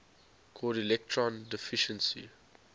called electron deficiency